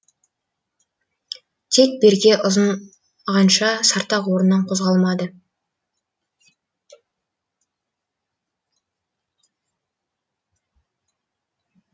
тек берке ұзағанша сартақ орнынан қозғалмады